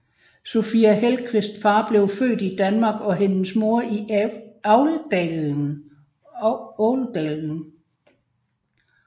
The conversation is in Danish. Sofia Hellqvists far blev født i Danmark og hendes mor i Älvdalen